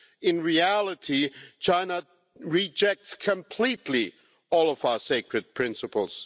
In reality, China rejects completely all of our sacred principles.